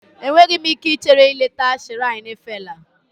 Enweghị m ike ichere ileta shiraini Fela